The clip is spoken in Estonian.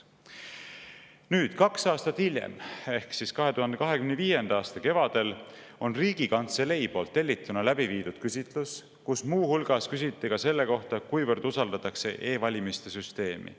Nüüd, kaks aastat hiljem ehk siis 2025. aasta kevadel on Riigikantselei poolt tellituna läbi viidud küsitlus, kus muu hulgas küsiti ka selle kohta, kuivõrd usaldatakse e-valimiste süsteemi.